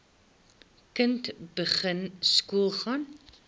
kind begin skoolgaan